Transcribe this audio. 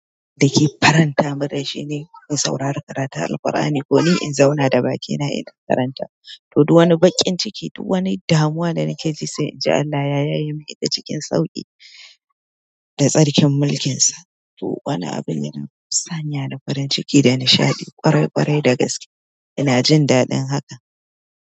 Dake faranta mun rai shine in saurari karatu Al-Ƙur'ani ko ni in zauna da bakina ina karantawa. To duk wani bakin ciki, duk wani damuwa da nake ji sai in ji Allah ya yaye min ta cikin sauƙi da tsarkin mulkinsa. To wana abin da na sanya da farin ciki da nishaɗi kwarai kwarai da gaske ina jin daɗin haka.